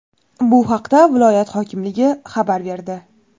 Bu haqda viloyat hokimligi xabar berdi.